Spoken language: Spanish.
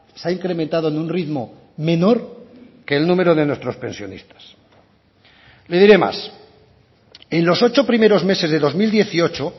se ha incrementado en un ritmo menor que el número de nuestros pensionistas le diré más en los ocho primeros meses de dos mil dieciocho